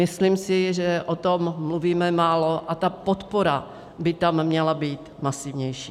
Myslím si, že o tom mluvíme málo a ta podpora by tam měla být masivnější.